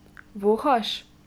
Vohaš?